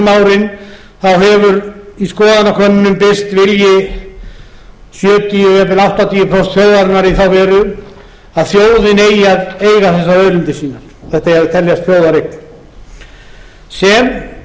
í gegnum árin hefur í skoðanakönnunum birst vilji sjötíu eða jafnvel áttatíu prósent þjóðarinnar í þá veru að þjóðin eigi að eiga þessar auðlindir sínar þetta eigi að teljast þjóðareign sem